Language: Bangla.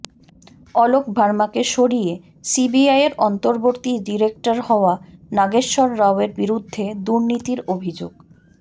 অলোক ভার্মাকে সরিয়ে সিবিআইয়ের অন্তর্বর্তী ডিরেক্টর হওয়া নাগেশ্বর রাওয়ের বিরুদ্ধে দুর্নীতির অভিযোগ